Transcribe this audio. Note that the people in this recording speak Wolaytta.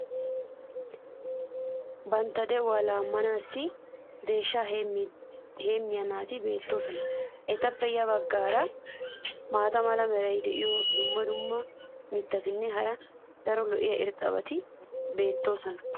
Bantta de'uwa laammanaassi deeshshaa heemmiya naati beetoosona. etappe ya bagaara maata mala meray diyo dumma dumma mitatinne hara daro lo'iya irxxabati beetoosona.